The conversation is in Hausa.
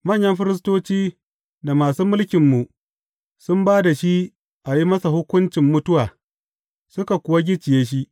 Manyan firistoci da masu mulkinmu sun ba da shi a yi masa hukuncin mutuwa, suka kuwa gicciye shi.